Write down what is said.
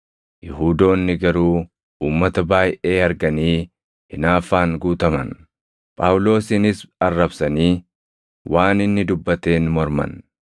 Yihuudoonni garuu uummata baayʼee arganii hinaaffaan guutaman; Phaawulosinis arrabsanii waan inni dubbateen morman.